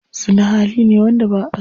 Zina hali ne wanda ba'aso.